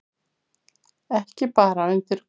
Ekki bara undir gólfinu.